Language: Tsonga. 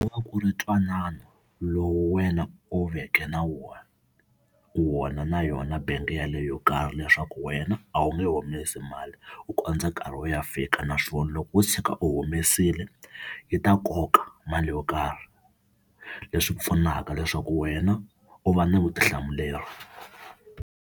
Ku va ku ri ntwanano lowu wena u veke na wona, wona na yona bank yaleyo yo karhi, leswaku wena a wu nge humesi mali ku kondza nkarhi wo ya fika, naswona loko wo tshuka u humesile yi ta koka mali yo karhi leswi pfunaka leswaku wena u va na vutihlamuleri.